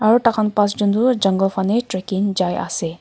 aro tai khan passjun toh jungle fale trekking jai asae.